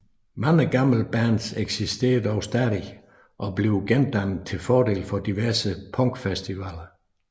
Mange gamle bands eksisterer dog stadig eller bliver gendannet til fordel for diverse punkfestivaler